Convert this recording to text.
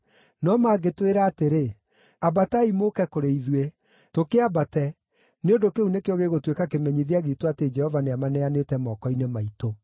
No mangĩtwĩra atĩrĩ, ‘Ambatai mũũke kũrĩ ithuĩ,’ tũkĩambate, nĩ ũndũ kĩu nĩkĩo gĩgũtuĩka kĩmenyithia giitũ atĩ Jehova nĩamaneanĩte moko-inĩ maitũ.”